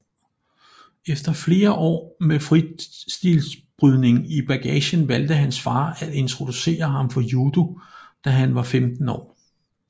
Efter flere år med fristilbrydning i bagagen valgte hans far at introducere ham for judo da han var 15 år